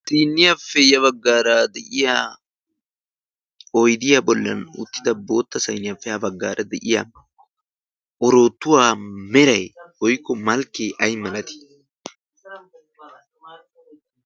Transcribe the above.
sinniyaappe ya baggaara de'iya oydiyaa bollan uttida bootta sayniyaafe ya baggaara de'iya oroottuwaa meray woykko malkkee ay malatii?